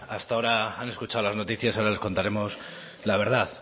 hasta ahora han escuchado las noticias ahora les contaremos la verdad